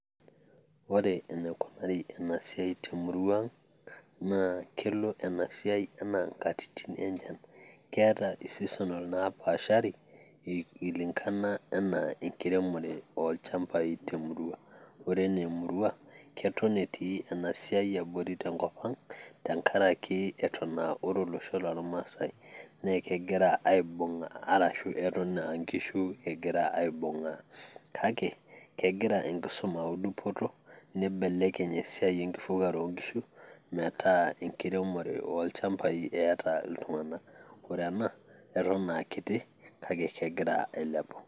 ore enikunari ena siai temurua ang' naa kelo ena siai enaa nkatitin enchan keeta e seasonal napaashari i lingana enaa enkiremore ilchambai temurua, ore enaa emurua keton etii ena siai abori tenkop ang' tenkarake eton uh, ore olosho lormasae naa ekegira aibung' arashu eton aa inkishu egira aibung'aa kake egira enkisuma au dupoto nibelekeny esiai enkifugare onkishu metaa enkiremore olchambai eeta iltung'anak ore ena eton aa kiti kake kegira ailepu.